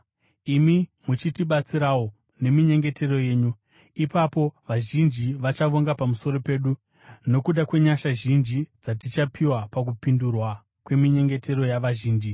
imi muchitibatsirawo neminyengetero yenyu. Ipapo vazhinji vachavonga pamusoro pedu nokuda kwenyasha zhinji dzatichapiwa pakupindurwa kweminyengetero yavazhinji.